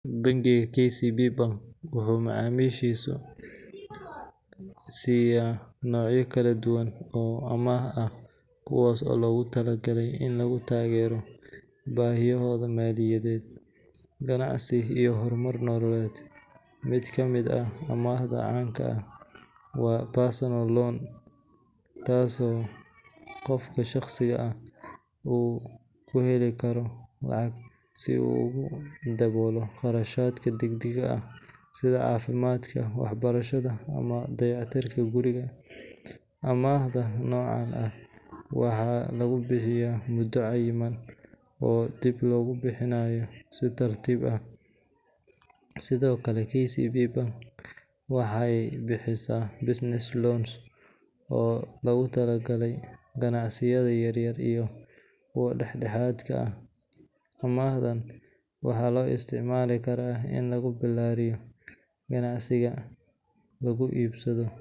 Ganacsiyada casriga ah maanta waxay taageeraan noocyo kala duwan oo macaamil lacageed ah si ay u fududeeyaan adeegyada iyo iibka badeecooyinka. Noocyada lacagta lagu kala iibsado waxaa ka mid ah lacag caddaan ah, adeegyada lacagta elektaroonigga ah sida mobile money, iyo bank transfers. Mid ka mid ah hababka ugu caansan ee lagu isticmaalo gudaha Kenya iyo dalal kale oo Afrika ah waa M-Pesa, oo ah nidaam lacag diris iyo helis ah oo ku shaqeeya taleefanka gacanta. Ganacsiyada yaryar iyo kuwa waaweynba waxay u adeegsadaan mobile payments in ay lacag ku helaan si